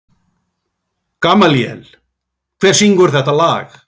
Gamalíel, hver syngur þetta lag?